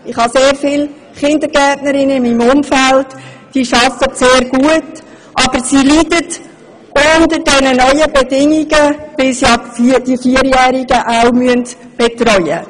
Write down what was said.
Ich kenne in meinem Umfeld sehr viele Kindergärtnerinnen, sie arbeiten sehr gut, aber sie leiden unter den neuen Bedingungen, weil sie neu auch Vierjährige betreuen müssen.